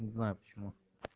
не знаю почему